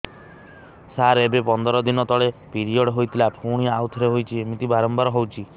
ସାର ଏବେ ପନ୍ଦର ଦିନ ତଳେ ପିରିଅଡ଼ ହୋଇଥିଲା ପୁଣି ଆଉଥରେ ହୋଇଛି ଏମିତି ବାରମ୍ବାର ହଉଛି